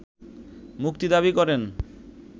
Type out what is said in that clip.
মুক্তি দাবি করেন